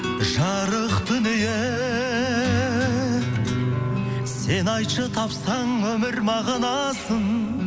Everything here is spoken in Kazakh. жарық дүние сен айтшы тапсаң өмір мағынасын